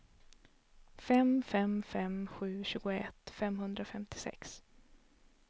fem fem fem sju tjugoett femhundrafemtiosex